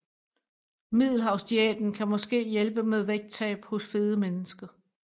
Middelhavsdiæten kan måske hjælpe med vægttab hos fede mennesker